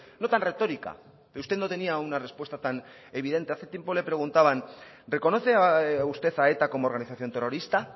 no tan retórica pero usted no tenía una respuesta tan evidente hace tiempo le preguntaban reconoce usted a eta como organización terrorista